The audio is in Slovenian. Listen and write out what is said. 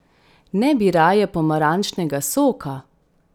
Ne bi raje pomarančnega soka?